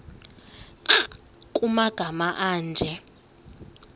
nkr kumagama anje